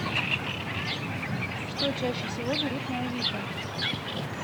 что чаще всего берут на авито